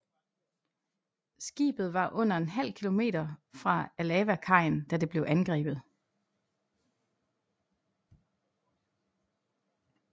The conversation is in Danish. Skibet var under en halv kilometer fra Alava kajen da det blev angrebet